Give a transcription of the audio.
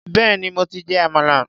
Béèni mo ti jẹ àmàlà.